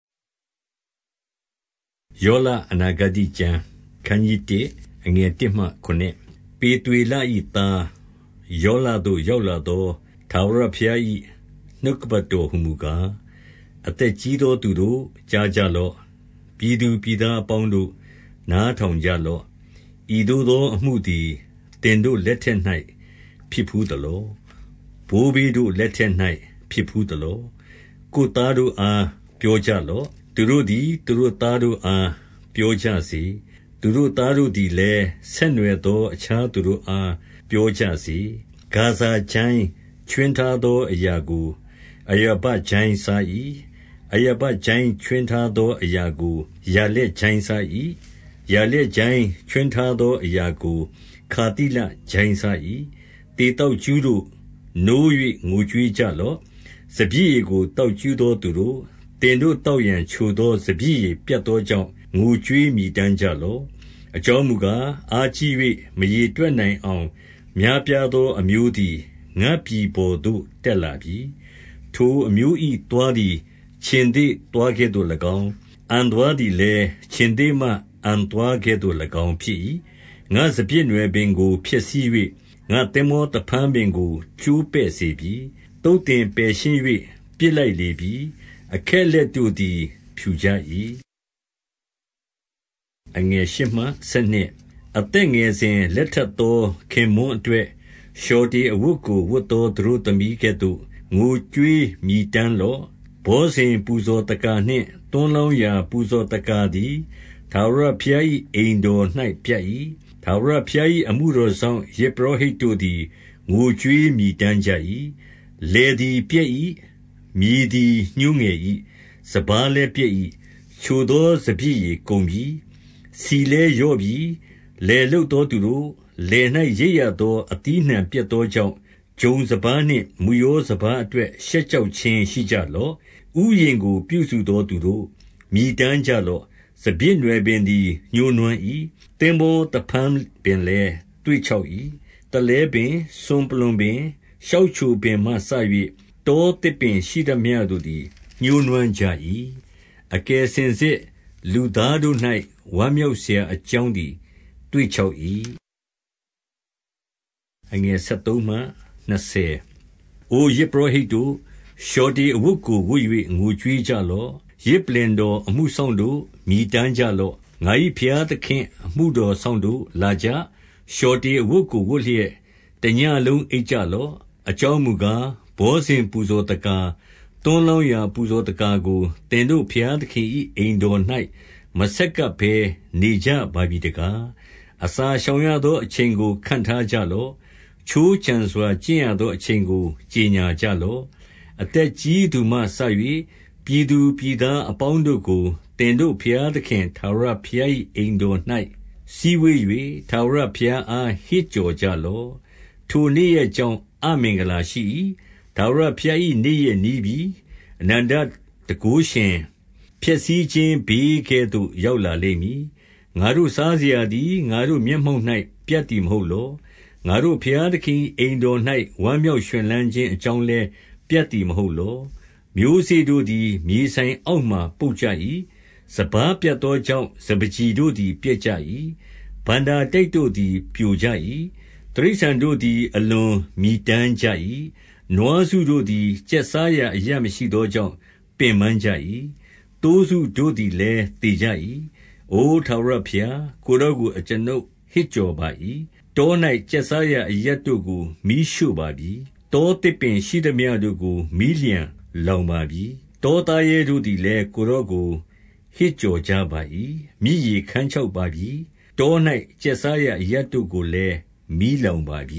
ယောလအနာဂတ္တိကျမ်း။ အခနျး 1 ပေသွေလ၏သားယောလသို့ ရောက်လာသော ထာဝရဘုရား၏ နှုတ်ကပတ်တော်ဟူမူကား၊ အသက်ကြီးသော သူတို့၊ ကြားကြလော့။ ပြည် သူပြည်သားအပေါင်းတို့၊ နားထောင်ကြလော့။ ဤသို့ သော အမှုသည် သင်တို့လက်ထက်၌ ဖြစ်ဘူးသလော။ ဘိုးဘေးတို့လက်ထက်၌ ဖြစ်ဘူးသလော။ ကိုယ်သားတို့အား ပြောကြလော့။ သူတို့သည် သူတို့သားတို့အား ပြောကြစေ။ သူတို့သားတို့သည်လည်း ဆက်နွှယ်သော အခြားသူတို့အား ပြောကြစေ။ ဂါဇံကျိုင်းခြွင်းထားသော အရာကိုအရာ ဘကျိုင်းစား၏။ အရာဘကျိုင်းခြွင်းထားသော အရာကို ယာလက်ကျိုင်းစား၏။ ယာလက်ကျိုင်းခြွင်းထားသော အရာကို ခါသိလကျိုင်းစား၏။ သေသောက် ကြူးတို့၊ နိုး၍ ငိုကြွေးကြလော့။ စပျစ်ရည်ကို သောက်ကြူးသောသူတို့၊ သင်တို့သောက်ရန် ချိုသောစပျစ်ရည်ပြတ်သောကြောင့် ငိုကြွေးမြည်တမ်းကြ လော့။ အကြောင်းမူကား၊ အားကြီး၍ မရေတွက်နိုင်အောင် များပြားသော အမျိုးသည် ငါ့ပြည်ပေါ်သို့ တက်လာပြီ။ ထိုအမျိုးသား၏ သွားသည် ခြင်္သေ့သွားကဲ့သို့၎င်း၊ အံသွားသည်လည်း ခြင်္သေ့မအံသွားကဲ့သို့၎င်း ဖြစ်၏။ ငါ့စပျစ်နွယ်ပင်ကို ဖျက်ဆီး၍ ငါ့သင်္ဘော သဖန်းပင်ကို ကျိုးပဲ့စေပြီ။ သုတ်သင်ပယ်ရှင်း၍ ပစ်လိုက် လေပြီ။ အခက်အလက်တို့သည် ဖြူကြ၏။ အသက်ငယ်စဉ်လက်ထပ်သော ခင်ပွန်းအတွက် လျှော်တေအဝတ်ကို ဝတ်သော သတို့သမီးကဲ့သို့ ငိုကြွေး မြည်တမ်းလော့။ ဘောဇဉ်ပူဇော်သက္ကာနှင့် သွန်းလောင်းရာ ပူဇော်သက္ကာသည် ထာဝရဘုရား၏အိမ်တော်၌ ပြတ်၏။ ထာဝရဘုရား၏အမှုတော်စောင့် ယဇ်ပုရောဟိတ်တို့ သည် ငိုကြွေးမြည်တမ်းကြ၏။ လယ်သည် ပျက်၏။ မြေသည် ညှိုးငယ်၏။ စပါးလည်း ပျက်၏။ ချိုသော စပျစ်ရည်ကုန်ပြီ။ ဆီလည်း လျော့ပြီ။ လယ်လုပ်သော သူတို့၊ လယ်၌ ရိတ်ရသော အသီးအနှံပျက်သောကြောင့်၊ ဂျုံစပါးနှင့် မုယောစပါး အတွက် ရှက်ကြောက်ခြင်းရှိကြလော့။ ဥယျာဉ်ကို ပြုစု သော သူတို့၊ မြည်တမ်းကြလော့။ စပျစ်နွယ်ပင်သည် ညှိုးနွမ်း၏။ သင်္ဘောသဖန်း ပင်လည်း သွေ့ခြောက်၏။ သလဲပင်။ စွန်ပလွံပင်၊ ရှောက်ချိုပင်မှစ၍ တောသစ်ပင်ရှိသမျှတို့သည် ညှိုးနွမ်း ကြ၏။ အကယ်စင်စစ်လူသားတို့၌ ဝမ်းမြောက်စရာ အကြောင်းသည် သွေ့ခြောက်၏။ အို ယဇ်ပုရောဟိတ်တို့၊ လျှော်တေအဝတ်ကို ဝတ်၍ ငိုကြွေးကြလော့။ ယဇ်ပလ္လင်တော် အမှုစောင့်တို့၊ မြည်တမ်းကြလော့။ ငါ၏ဘုရားသခင့်အမှုတော်စောင့်တို့၊ လာကြ။ လျှော်တေအဝတ်ကို ဝတ်လျက် တညဉ့်လုံးအိပ် ကြလော့။ အကြောင်းမူကား၊ ဘောဇဉ်ပူဇော်သက္ကာ၊ သွန်း လောင်းရာ ပူဇော်သက္ကာကို သင်တို့ဘုရားသခင်၏ အိမ် တော်၌ မဆက်ကပ်ဘဲ နေကြပါပြီတကား။ အစာရှောင်ရသော အချိန်ကို ခန့်ထားကြ လော့။ ခြိုးခြံစွာ ကျင့်ရသောအချိန်ကို ကြော်ငြာကြလော့။ အသက်ကြီးသူမှစ၍ ပြည်သူပြည်သားအပေါင်းတို့ကို သင်တို့ဘုရားသခင်ထာဝရဘုရား၏ အိမ်တော်၌ စည်း ဝေး၍ ထာဝရဘုရားအား ဟစ်ကြော်ကြလော့။ ထိုနေ့ရက်ကြောင့် အမင်္ဂလာရှိ၏။ ထာဝရ ဘုရား၏ နေ့ရက်နီးပြီ။ အနန္တတန်ခိုးရှင် ဖျက်ဆီးခြင်း ဘေးကဲ့သို့ ရောက်လာလိမ့်မည်။ ငါတို့စားစရာသည် ငါတို့မျက်မှောက်၌ ပြတ် သည်မဟုတ်လော။ ငါတို့ ဘုရားသခင်၏ အိမ်တော်၌ ဝမ်းမြောက်ရွှင်လန်းခြင်းအကြောင်းလည်း ပြတ်သည် မဟုတ်လော။ မျိုးစေ့တို့သည် မြေစိုင်အောက်မှာ ပုပ်ကြ၏။ စပါးပြတ်သောကြောင့် စပါးကျီတို့သည် ပျက်ကြ၏။ ဘဏ္ဍာတိုက်တို့သည် ပြိုကြ၏။ တိရစ္ဆာန်တို့သည် အလွန်မြည်တမ်းကြ၏။ နွားစု တို့သည် ကျက်စားရာအရပ်မရှိသောကြောင့် ပင်ပန်းကြ ၏။ သိုးစုတို့သည်လည်း သေကြ၏။ အိုထာဝရဘုရား၊ ကိုယ်တော်ကို အကျွန်ုပ် ဟစ်ကြော်ပါ၏။ တော၌ ကျက်စားရာအရပ်တို့ကို မီးရှို့ ပါပြီ။ တောသစ်ပင်ရှိသမျှတို့ကို မီးလျှံလောင်ပါပြီ။ တောသားရဲတို့သည်လည်း ကိုယ်တော်ကို ဟစ် ကြော်ကြပါ၏။ မြစ်ရေခန်းခြောက်ပါပြီ။ တော၌ ကျက် စားရာအရပ်တို့ကိုလည်း မီးလောင်ပါပြ